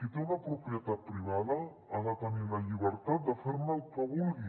qui té una propietat privada ha de tenir la llibertat de fer ne el que vulgui